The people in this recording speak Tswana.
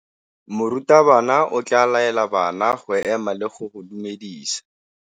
Morutabana o tla laela bana go ema le go go dumedisa.